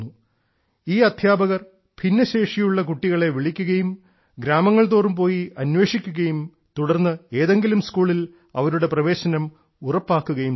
ഈ അധ്യാപകർ ഭിന്നശേഷിയുള്ള കുട്ടികളെ വിളിക്കുകയും ഗ്രാമങ്ങൾതോറും പോയി അന്വേഷിക്കുകയും തുടർന്ന് ഏതെങ്കിലും സ്കൂളിൽ അവരുടെ പ്രവേശനം ഉറപ്പാക്കുകയും ചെയ്യുന്നു